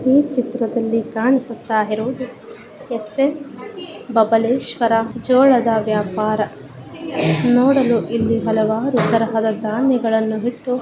ಈ ಚಿತ್ರದಲ್ಲಿ ಕಾಣುತ್ತಿರುವುದು ಸ್ ನ್ ಬಬಲೇಶ್ವರ ಜೋಳದ ವ್ಯಾಪಾರ ನೋಡಲು ಇಲ್ಲಿ ಹಲವಾರು ತರಹದ.